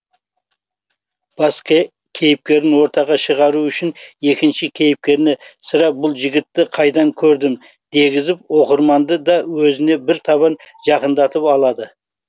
бас кейіпкерін ортаға шығару үшін екінші кейіпкеріне сірә бұл жігітті қайдан көрдім дегізіп оқырманды да өзіне бір табан жақындатып алады